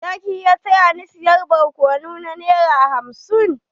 Za ki iya taya ni saya barkonu na nera hamsin?